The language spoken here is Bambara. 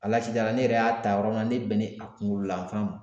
ne yɛrɛ y'a ta yɔrɔ min na ne bɛnnen a kunkololafan ma